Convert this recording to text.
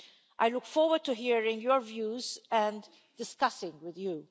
I look forward to hearing your views and discussing with you.